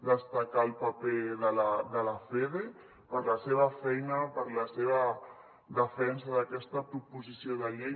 destacar el paper de la fede per la seva feina per la seva defensa d’aquesta proposició de llei